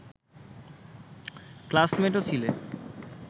ক্লাসমেটও ছিলেন